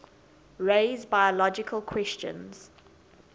raise biological questions